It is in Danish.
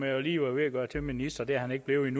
ministeren